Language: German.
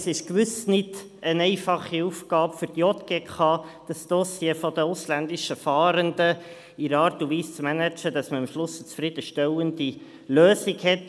Es ist gewiss keine einfache Aufgabe für die JGK, das Dossier der ausländischen Fahrenden in einer Art und Weise zu managen, dass man am Ende zu einer zufriedenstellenden Lösung kommt.